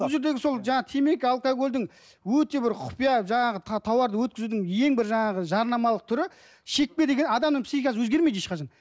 бұл жердегі сол жаңағы темекі алкогольдің өте бір құпия жаңағы товарды өткізудің ең бір жаңағы жарнамалық түрі шекпе деген адамның психикасы өзгермейді ешқашан